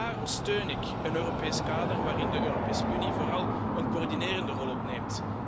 Daarom steun ik een Europees kader waarin de Europese Unie vooral een coördinerende rol opneemt.